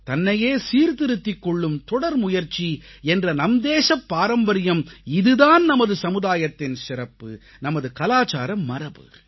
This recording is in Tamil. தன்னையே சீர்திருத்திக் கொள்ளும் தொடர்முயற்சி என்ற நம்தேசப் பாரம்பரியம் இது தான் நமது சமுதாயத்தின் சிறப்பு நமது கலாச்சார மரபு